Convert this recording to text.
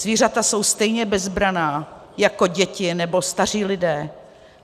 Zvířata jsou stejně bezbranná jako děti nebo staří lidé.